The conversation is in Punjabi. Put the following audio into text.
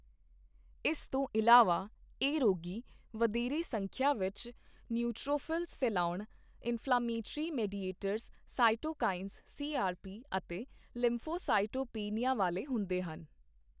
ਇਸ ਤੋਂ ਇਲਾਵਾ, ਇਹ ਰੋਗੀ ਵਧੇਰੇ ਸੰਖਿਆ ਵਿੱਚ ਨਿਊਟ੍ਰੋਫ਼ਿਲਸ ਫੈਲਾਉਣ, ਇਨਫ਼ਲੇਮੇਟਰੀ ਮੀਡੀਏਟਰਜ਼ ਸਾਇਟੋਕਾਈਨ, ਸੀਆਰਪੀ ਅਤੇ ਲਿੰਫ਼ੋਸਾਇਟੋਪੈਨੀਆ ਵਾਲੇ ਹੁੰਦੇ ਹਨ।